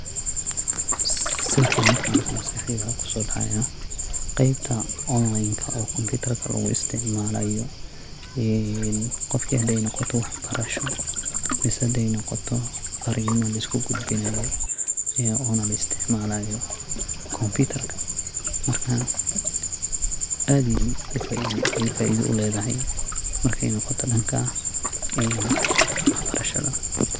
Sawirkan markan arko maskaxdeyda waxa kusodaca gebta online oo computer laguisticmalayo, gofka xaday nogoto wax barasha mise haday nogoto farima liskugudbinayo iyo ona laisticmalayo computer marka aad ay faida uledahay markay nogoto danka een waxbarashada.